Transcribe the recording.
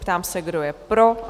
Ptám se, kdo je pro?